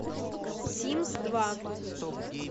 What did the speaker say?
симс два